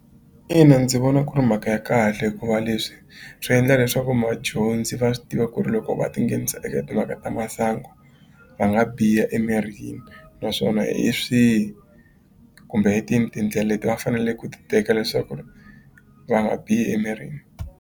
Ina ndzi vona ku ri mhaka ya kahle hikuva leswi swi endla leswaku madyondzi va swi tiva ku ri loko va tinghenisa eka timhaka ta masangu va nga biha emirini naswona hi swihi kumbe hi tini tindlele leti va fanele ku ti teka leswaku ri va nga bihi emirini.